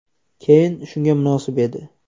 Keyn shunga munosib edi.